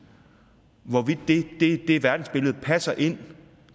hvorvidt det verdensbillede passer ind